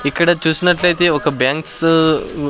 ఇక్కడ చూసినట్లయితే ఒక బ్యాంక్స్ .